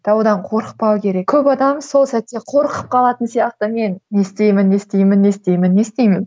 таудан қорықпау керек көп адам сол сәтте қорқып қалатын сияқты мен не істеймін не істеймін не істеймін не істеймін